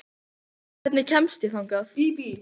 Gló, hvernig kemst ég þangað?